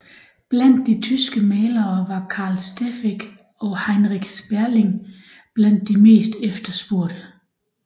Blandt de tyske malere var Carl Steffeck og Heinrich Sperling blandt de mest efterspurgte